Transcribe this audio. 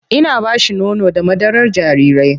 Ina ba shi nono da madarar jarirai.